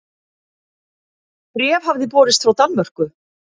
Bréf hafði borist frá Danmörku.